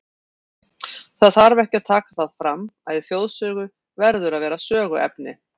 Það þarf ekki að taka það fram, að í þjóðsögu verður að vera söguefni.